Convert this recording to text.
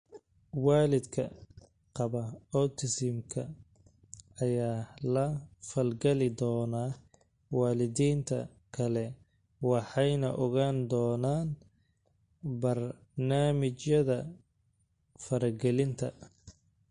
Waalidka qaba autism-ka ayaa la falgali doona waalidiinta kale waxayna ogaan doonaan barnaamijyada faragelinta.